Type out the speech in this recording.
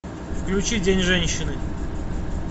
включи день женщины